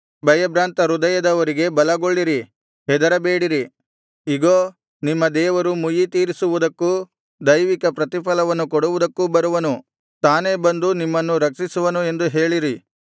ಭಯಭ್ರಾಂತ ಹೃದಯದವರಿಗೆ ಬಲಗೊಳ್ಳಿರಿ ಹೆದರಬೇಡಿರಿ ಇಗೋ ನಿಮ್ಮ ದೇವರು ಮುಯ್ಯಿತೀರಿಸುವುದಕ್ಕೂ ದೈವಿಕ ಪ್ರತಿಫಲವನ್ನು ಕೊಡುವುದಕ್ಕೂ ಬರುವನು ತಾನೇ ಬಂದು ನಿಮ್ಮನ್ನು ರಕ್ಷಿಸುವನು ಎಂದು ಹೇಳಿರಿ